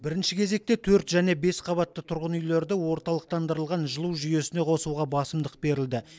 бірінші кезекте төрт және бес қабатты тұрғын үйлерді орталықтандырылған жылу жүйесіне қосуға басымдық берілді